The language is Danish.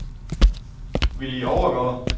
Willy Overgaard